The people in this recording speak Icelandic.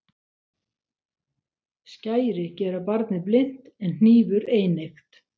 Skæri gera barnið blint en hnífur eineygt.